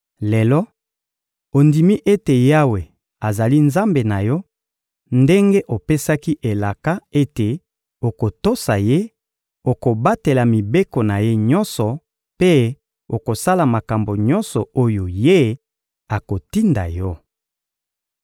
Lelo, ondimi ete Yawe azali Nzambe na yo; ndenge opesaki elaka ete okotosa Ye, okobatela mibeko na Ye nyonso mpe okosala makambo nyonso oyo Ye akotinda yo.